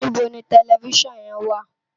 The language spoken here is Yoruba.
Nibó ni tèlèfisán yèn wá?